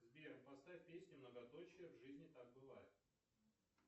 сбер поставь песню многоточие в жизни так бывает